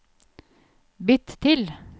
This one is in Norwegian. bytt til